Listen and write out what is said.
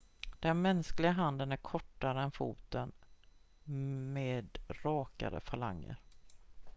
den mänskliga handen är kortare än foten med rakare falanger